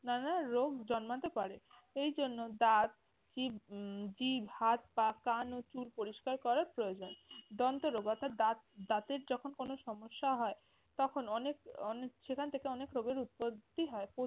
নানা রোগ জন্মতে পারে। এই জন্য দাঁত কি উম জিভ, হাত-পা, কান ও চুল পরিষ্কার করার প্রয়োজন। দন্তরোগ, অর্থাৎ দাঁত দাঁতের যখন কোন সমস্যা হয় তখন অনেক সেখান থেকে অনেক রোগের উৎপত্তি হয়।